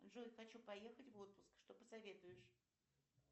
джой хочу поехать в отпуск что посоветуешь